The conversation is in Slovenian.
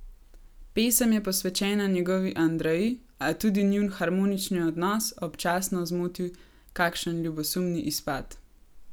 Pesem je posvečena njegovi Andreji, a tudi njun harmonični odnos občasno zmoti kakšen ljubosumni izpad.